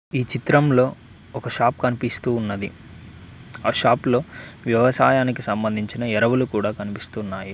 ఈ చిత్రంలో ఒక షాప్ కనిపిస్తూ ఉన్నది ఆ షాప్ లో వ్యవసాయానికి సంబంధించిన ఎరువులు కూడా కనిపిస్తున్నాయి.